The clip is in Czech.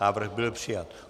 Návrh byl přijat.